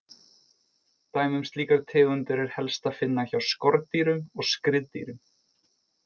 Dæmi um slíkar tegundir er helst að finna hjá skordýrum og skriðdýrum.